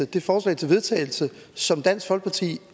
det forslag til vedtagelse som dansk folkeparti